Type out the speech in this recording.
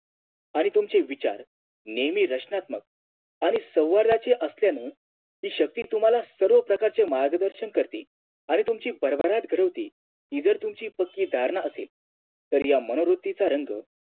आणि तुमचे विचार नेहमी रचनात्मक आणि सौवऱ्याचे असल्याने हि शक्ती तुम्हाला सर्वप्रकारचे मार्गदर्शन करते आणि तुमची भरभराट घडवते इतर तुमची कोणती धारणा असेल तर या मनोवृत्तीचा रंग